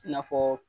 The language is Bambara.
I n'a fɔ